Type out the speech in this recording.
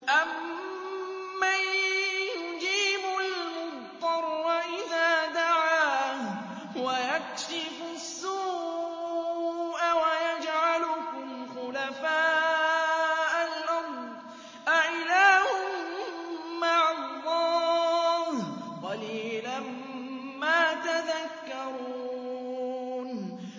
أَمَّن يُجِيبُ الْمُضْطَرَّ إِذَا دَعَاهُ وَيَكْشِفُ السُّوءَ وَيَجْعَلُكُمْ خُلَفَاءَ الْأَرْضِ ۗ أَإِلَٰهٌ مَّعَ اللَّهِ ۚ قَلِيلًا مَّا تَذَكَّرُونَ